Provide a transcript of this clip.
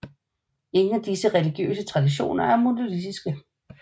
Ingen af disse religiøse traditioner er monolitiske